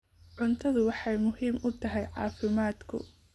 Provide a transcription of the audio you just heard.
Cuntadu waxay muhiim u tahay caafimaadka.